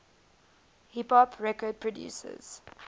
hip hop record producers